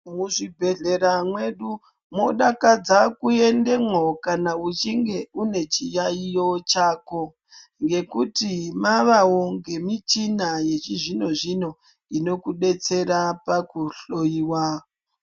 Muzvibhedhlera mwedu mwodakadza kuendemwo kana uchinge unechiyaiyo chako. Ngekuti mavavo ngemichina yechizvino-zvino inokubetsera pakuhloiwa.